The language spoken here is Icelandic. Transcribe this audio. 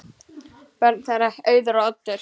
Börn þeirra: Auður og Oddur.